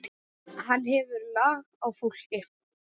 Hann hefur lag á fólki.